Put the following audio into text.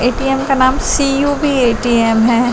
ऐटीम का नाम CUB ATM है।